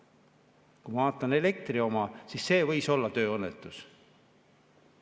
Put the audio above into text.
Kui ma vaatan elektri oma, siis see võis olla tööõnnetus.